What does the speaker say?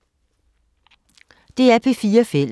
DR P4 Fælles